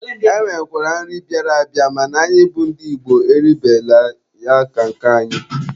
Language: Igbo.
E nwekwara nri bịara abịa mana anyị bụ ndị Igbo eribela ya ka nke anyị.